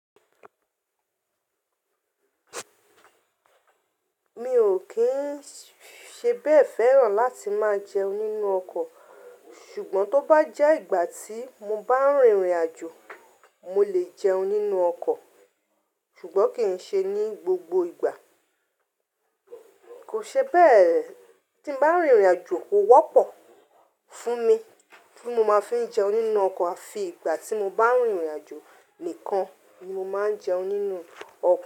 Mi ò kín ṣe bẹ́ẹ̀ fẹ́ràn láti máa jẹun nínú ọkọ̀, ṣùgbọ́n tó bá jẹ́ ìgbà tí mo bá rìnrìn àjò mo lè jẹun nínú ọkọ̀, ṣùgbọ́n kì í ṣe ní gbogbo ìgbà. Kò ṣe bẹ́ẹ̀, tí m bá rìnrìn àjò kò wọ́pọ̀ fún mi tí mo máa fi ń jẹun nínú ọkọ̀, àfi ìgbà tí mo bá rìnrìn àjò nìkan ni mo máa ń jẹun nínú ọkọ̀